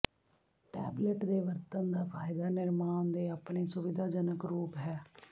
tablet ਦੇ ਵਰਤਣ ਦਾ ਫਾਇਦਾ ਨਿਰਮਾਣ ਦੇ ਆਪਣੇ ਸੁਵਿਧਾਜਨਕ ਰੂਪ ਹੈ